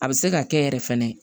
A bɛ se ka kɛ yɛrɛ fɛnɛ